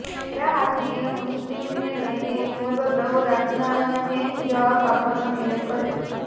હેરા હાશમીએ મુસ્લિમને લઈને પૂર્વગ્રહો રાખનારાને જવાબ આપવાનો નિર્ણય કર્યો